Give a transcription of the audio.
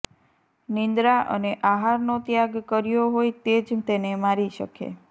નિંદ્રા અને આહારનો ત્યાગ કર્યો હોય તે જ તેને મારી શકે